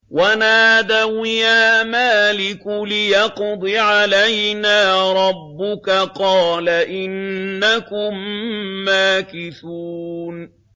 وَنَادَوْا يَا مَالِكُ لِيَقْضِ عَلَيْنَا رَبُّكَ ۖ قَالَ إِنَّكُم مَّاكِثُونَ